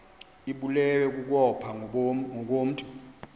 ibulewe kukopha ngokomntu